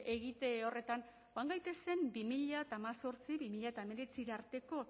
egite horretan joan gaitezen bi mila hemezortzi bi mila hemeretzira arteko